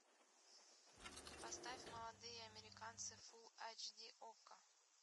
поставь молодые американцы фул эйч ди окко